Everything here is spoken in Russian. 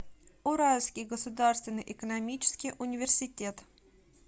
уральский государственный экономический университет